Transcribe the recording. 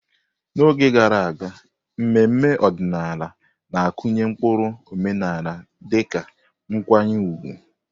N'oge gara aga, mmemme ọdịnala na-akụnye ụkpụrụ omenala dịka nkwanye ùgwù.